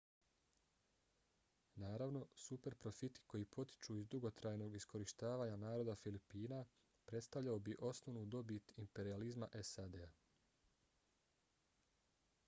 naravno super profiti koji potiču iz dugotrajnog iskorištavanja naroda filipina predstavljao bi osnovnu dobit imperijalizma sad-a